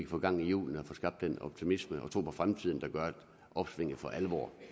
få gang i hjulene og få skabt den optimisme og tro på fremtiden der gør at opsvinget for alvor